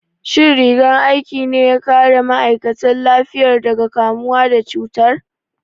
Shin rigar aikin ne ya kare ma'aikatan lafiyar daga kamuwa da cutar?